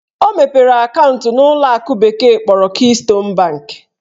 Ọ mepere akaụntụ n'ụlọakụ bekee kpọrọ Keystone bank